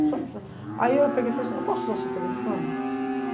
Aí eu peguei e falei assim, eu posso usar seu telefone?